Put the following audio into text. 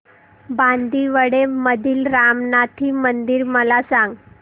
बांदिवडे मधील रामनाथी मंदिर मला सांग